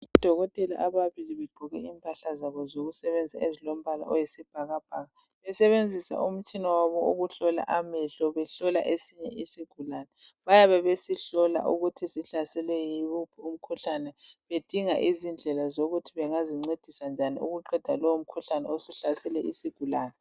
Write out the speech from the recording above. Odokotela ababili begqoke impahla zabo zokusebenza ezilombala oyisibhakabhaka besebenzisa umtshina wabo wokuhlola amehlo behlola esinye isigulane. Bayabe besihlola ukuthi sihlaselwe yiwuphi umkhuhlane bedinga izindlela zokuthi bengazincedisa njani ukuqeda lowo mkhuhlane osuhlasele isigulane.